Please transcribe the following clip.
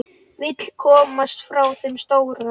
Vill komast frá þeim stóra.